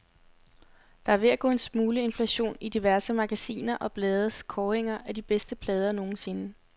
Der er ved at gå en smule inflation i diverse magasiner og blades kåringer af de bedste plader nogensinde.